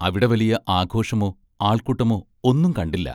അവിടെ വലിയ ആഘോഷമോ, ആൾക്കൂട്ടമോ ഒന്നും കണ്ടില്ല.